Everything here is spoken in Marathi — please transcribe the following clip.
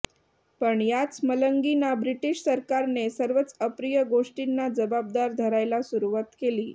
पण याच मलंगींना ब्रिटिश सरकारने सर्वच अप्रिय गोष्टींना जबाबदार धरायला सुरुवात केली